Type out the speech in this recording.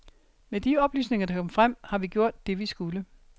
Med de oplysninger, der kom frem, har vi gjort, det vi skulle.